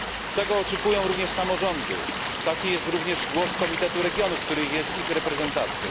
Tego oczekują również samorządy, taki jest również głos Komitetu Regionów, który jest ich reprezentacją.